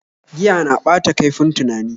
Giya na ɓata kaifin tunani